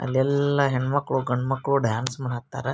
ಅಲ್ಲೆಲ್ಲ ಹೆಣ್ಣು ಮಕ್ಕಳು ಗಂಡು ಮಕ್ಕಳು ಡ್ಯಾನ್ಸ್ ಮಾಡಾಕ್ತಾರಾ --